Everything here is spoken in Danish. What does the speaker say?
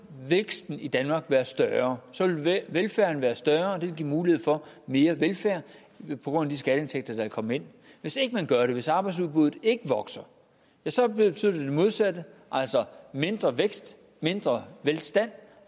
væksten i danmark være større så vil velfærden være større og det vil give mulighed for mere velfærd på grund af de skatteindtægter der vil komme ind hvis ikke man gør det hvis arbejdsudbuddet ikke vokser ja så betyder det det modsatte altså mindre vækst mindre velstand